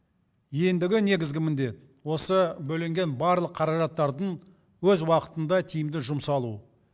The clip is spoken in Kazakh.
ендігі негізгі міндет осы бөлінген барлық қаражаттардың өз уақытында тиімді жұмсалу